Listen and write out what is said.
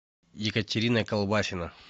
екатерина колбасина